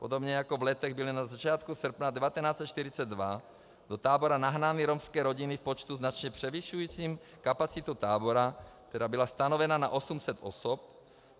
Podobně jako v Letech byly na začátku srpna 1942 do tábora nahnány romské rodiny v počtu značně převyšujícím kapacitu tábora, která byla stanovena na 800 osob.